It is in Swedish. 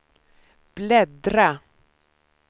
bläddra